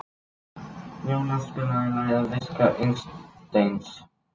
Þegar kvikan kemst upp á yfirborð verður mikið sjónarspil sem að við köllum eldgos.